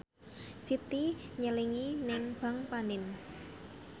Siti nyelengi nang bank panin